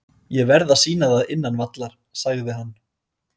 Ég verð að sýna það innan vallar, sagði hann.